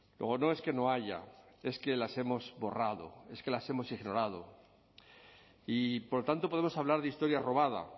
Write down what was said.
luego no es que no haya es que las hemos borrado es que las hemos ignorado y por tanto podemos hablar de historia robada